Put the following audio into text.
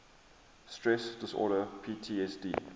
stress disorder ptsd